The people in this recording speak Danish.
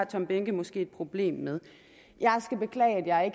tom behnke måske et problem med jeg skal beklage at jeg